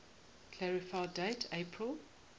clarify date april